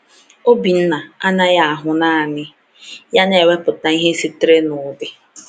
Obinna anaghị ahụ naanị ya na-ewepụta ihe sitere n’ụdị.